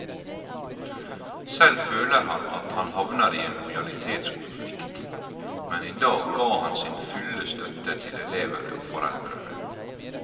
Selv føler han at han havner i en lojalitetskonflikt, men i dag ga han sin fulle støtte til elevene og foreldrene.